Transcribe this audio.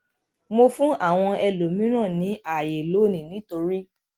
mo fún àwọn ẹlòmíràn ní àyè lónìí nítorí